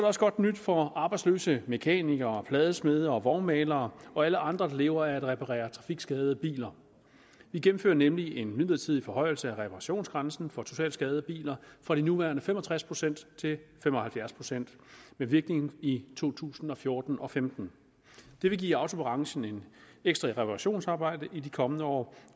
også godt nyt for arbejdsløse mekanikere pladesmede og vognmalere og alle andre der lever af at reparere trafikskadede biler vi gennemfører nemlig en midlertidig forhøjelse af reparationsgrænsen for totalskadede biler fra de nuværende fem og tres procent til fem og halvfjerds procent med virkning i to tusind og fjorten og femten det vil give autobranchen ekstra reparationsarbejde i de kommende år